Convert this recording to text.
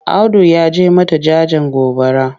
Audu ya je mata jajen gobara.